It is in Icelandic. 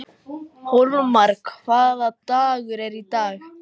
Hólmar, hvaða dagur er í dag?